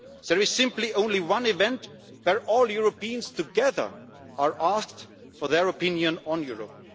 There is simply only one event where all Europeans together are asked for their opinion on Europe.